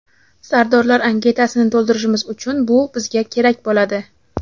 Sardorlar anketasini to‘ldirishimiz uchun bu bizga kerak bo‘ladi.